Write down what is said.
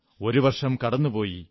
ഒരു വർഷം കടന്നുപോയി